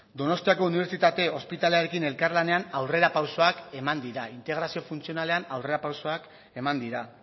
donostiako unibertsitate ospitalearekin elkarlanean aurrera pausoak eman dira integrazio funtzionalean aurrera pausoak eman dira